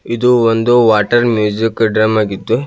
ಇದು ಒಂದು water music drum ಆಗಿತ್ತು.